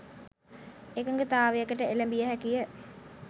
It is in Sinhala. එකඟතාවයකට එළඹිය හැකිය.